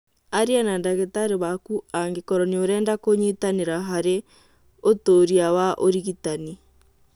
Aria na ndagĩtarĩ waku angĩkorwo nĩ urenda kũnyitanĩra harĩ ũtũria wa ũrigitani.